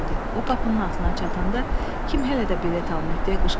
O qapının ağzına çatanda kim hələ də bilet almayıb deyə qışqırdı.